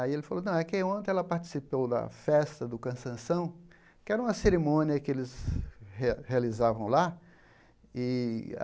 Aí ele falou que ontem ela participou da festa do cansanção, que era uma cerimônia que eles re realizavam lá. E